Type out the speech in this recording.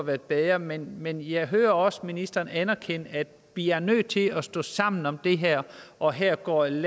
været bedre men men jeg hører også ministeren anerkende at vi er nødt til at stå sammen om det her og her og at